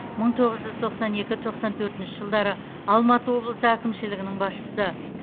мың тоғыз жүз тоқсан екі тоқсан төртінші жылдары алматы облысы әкімшілігінің басшысы